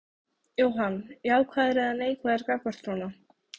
Jóhann: Jákvæður eða neikvæður gagnvart svona?